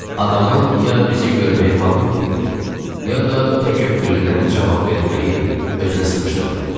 Adamın ya bizi görməyə halı yox idi, ya da təkəbbüründən cavab verməyi özünə sığışdırmadı.